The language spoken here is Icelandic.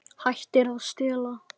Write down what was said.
Hættir að stela.